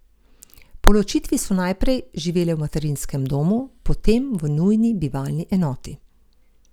Po ločitvi so najprej živele v materinskem domu, potem v nujni bivalni enoti.